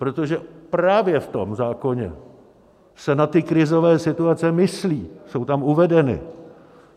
Protože právě v tom zákoně se na ty krizové situaci myslí, jsou tam uvedeny.